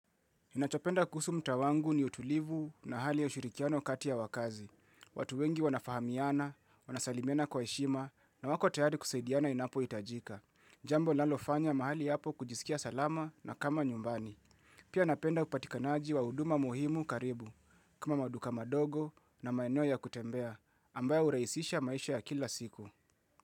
Ninachopenda kuhusu mtaa wangu ni utulivu na hali ya ushirikiano kati ya wakazi. Watu wengi wanafahamiana, wanasalimiana kwa heshima, na wako tayari kusaidiana inapohitajika. Jambo linaalofanya mahali hapo kujisikia salama na kama nyumbani. Pia napenda upatikanaji wa huduma muhimu karibu, kama maduka madogo na maeno ya kutembea, ambayo huraisisha maisha ya kila siku.